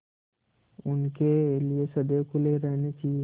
उनके लिए सदैव खुले रहने चाहिए